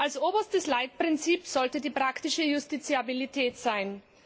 Als oberstes Leitprinzip sollte die praktische Justiziabilität sein.